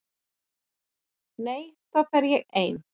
Nei, þá er ég ein.